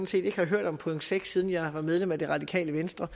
set ikke har hørt om punkt seks siden jeg var medlem af det radikale venstre